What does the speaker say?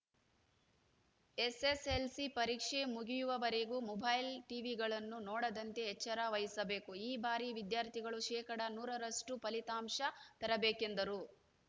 SSLC ಪರೀಕ್ಷೆ ಮುಗಿಯವರೆಗೂ mobile ಟಿವಿಗಳನ್ನು ನೋಡದಂತೆ ಎಚ್ಚರ ವಹಿಸಿಬೇಕು ಈ ಬಾರಿ ವಿದ್ಯಾರ್ಥಿಗಳು ಶೇಕಡಾ ನೂರರಷ್ಟು ಫಲಿತಾಂಶ ತರಬೇಕೆಂದರು